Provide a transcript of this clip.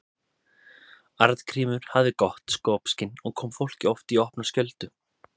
Arngrímur hafði gott skopskyn og kom fólki oft í opna skjöldu.